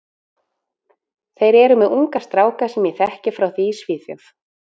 Þeir eru með unga stráka sem ég þekki frá því í Svíþjóð.